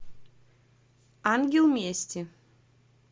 ангел мести